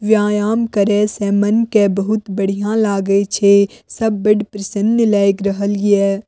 व्यायाम करे से मन के बहुत बढ़िया लागे छे सब बड प्रसन्न लाग रहलिये।